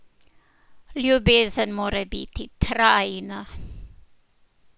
Ljubezen mora biti trajna!